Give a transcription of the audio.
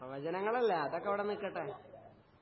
പ്രവചനങ്ങളല്ലേ അതൊക്കെ അവിടെ നിക്കട്ടെ